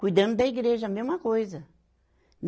Cuidando da igreja, a mesma coisa.